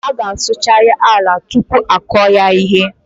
A gá a sụchariri ala tupu a kụọ ya ihe